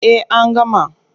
Eh an gama.